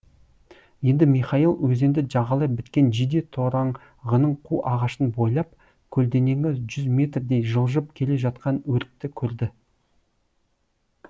енді михаил өзенді жағалай біткен жиде тораңғының қу ағашын бойлап көлденеңі жүз метрдей жылжып келе жатқан өртті көрді